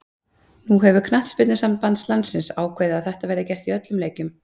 Nú hefur knattspyrnusamband landsins ákveðið að þetta verði gert í öllum leikjum.